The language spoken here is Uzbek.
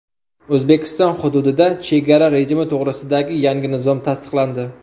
O‘zbekiston hududida chegara rejimi to‘g‘risidagi yangi nizom tasdiqlandi.